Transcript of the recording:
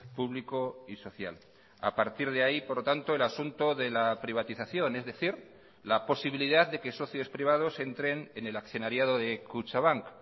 público y social a partir de ahí por lo tanto el asunto de la privatización es decir la posibilidad de que socios privados entren en el accionariado de kutxabank